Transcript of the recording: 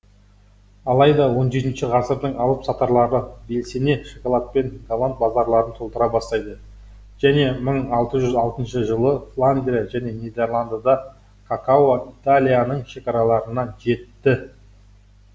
алайда он жетінші ғасырдың алып сатаралары белсене шоколадпен голланд базарларын толтыра бастайды және мың алты жүз алтыншы жылы фландрия және нидерландыда какао италияның шекараларына жетті